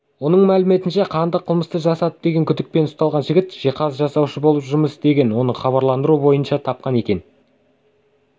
оның мәліметінше қанды қылмысты жасады деген күдікпен ұсталған жігіт жиһаз жасаушы болып жұмыс істеген оны хабарландыру бойынша тапқан екен